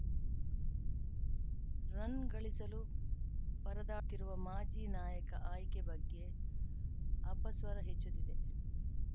run ಗಳಿಸಲು ಪರದಾಡುತ್ತಿರುವ ಮಾಜಿ ನಾಯಕ ಆಯ್ಕೆ ಬಗ್ಗೆ ಅಪಸ್ವರ ಹೆಚ್ಚುತ್ತಿದೆ